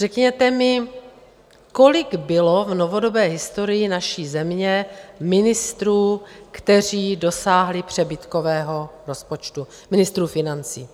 Řekněte mi, kolik bylo v novodobé historii naší země ministrů, kteří dosáhli přebytkového rozpočtu, ministrů financí?